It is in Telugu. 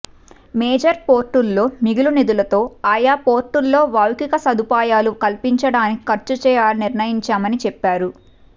మేజర్ పోర్టుల్లో మిగులు నిధులతో ఆయా పోర్టుల్లో వౌలిక సదుపాయాలు కల్పించడానికి ఖర్చు చేయాలని నిర్ణయించామని చెప్పారు